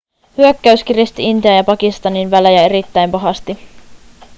hyökkäys kiristi intian ja pakistanin välejä erittäin pahasti